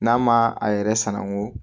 N'a ma a yɛrɛ sanango